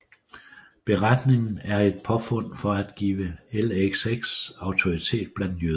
Beretningen er et påfund for at give LXX autoritet blandt jøder